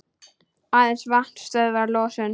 Aðeins vatn stöðvar losun.